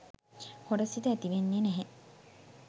හොර සිත ඇතිවෙන්නේ නැහැ.